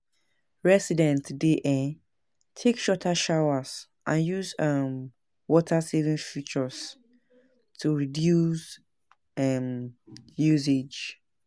Residents dey um take shorter showers and use um water-saving fixtures to reduce um usage.